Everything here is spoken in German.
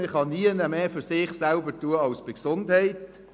Man kann nirgends mehr für sich selbst tun als bei der Gesundheit.